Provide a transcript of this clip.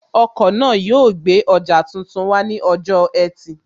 Ọkọ̀ náà yóò gbé ọjà tuntun wá ní ọjọ́ ẹtì